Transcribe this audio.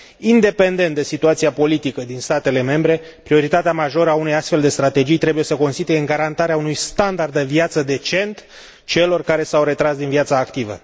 Independent de situația politică din statele membre, prioritatea majoră a unei astfel de strategii trebuie să o constituie garantarea unui standard de viață decent celor care s au retras din viața activă.